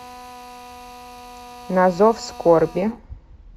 на зов скорби